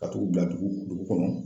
Ka tugu datugu dugu kɔnɔ.